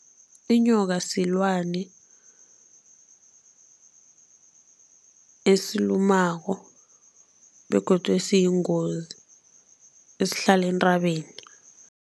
Inyoka silwani esilumako begodu esiyingozi, esihlala entabeni.